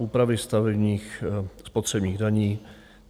Úpravy stavebních spotřebních daní.